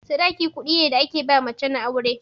Sadaki kuɗi ne da ake ba mace na aure.